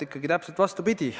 Ikkagi täpselt vastupidi.